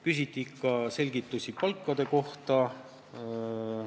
Küsiti selgitust palkade kohta.